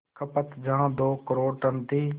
खपत जहां दो करोड़ टन थी